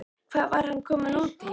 Hvað var hann kominn út í?